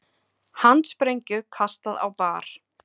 Handsprengju kastað á bar